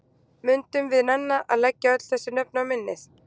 Mundum við nenna að leggja öll þessi nöfn á minnið?